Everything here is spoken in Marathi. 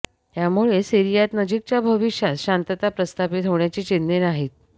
त्यामुळे सीरियात नजिकच्या भविष्यात शांतता प्रस्थापित होण्याची चिन्हं नाहीत